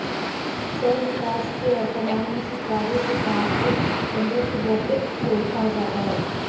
cell विकास के वर्तमान में स्वीकार्य सिद्धांत को एंडोसिंबोटिक थ्योरी कहा जाता है